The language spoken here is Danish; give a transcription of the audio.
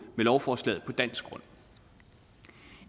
med lovforslaget på dansk grund